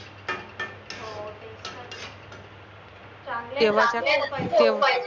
हो चांगलं